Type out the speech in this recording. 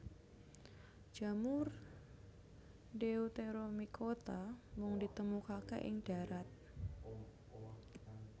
Jamur deuteromycota mung ditemukaké ing darat